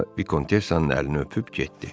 Sonra Vikontessanın əlini öpüb getdi.